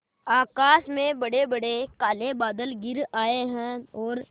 आकाश में बड़ेबड़े काले बादल घिर आए हैं और